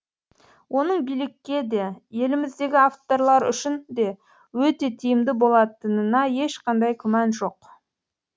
оның билікке де еліміздегі авторлар үшін де өте тиімді болатынына ешқандай күмән жоқ